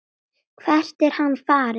Hvert er hann farinn?